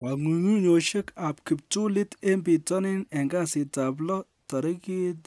Kong'ung'unyosiek ab kiptulit en bitonin en kasitab lo tarigit